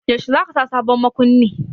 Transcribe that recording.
Yaushe za ka sa sabon makunni?